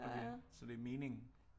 Okay så det er meningen